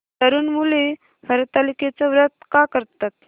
तरुण मुली हरतालिकेचं व्रत का करतात